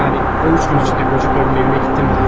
Yəni o üç gün içində qoca qadının evinə getdinmi deyə soruşurlar.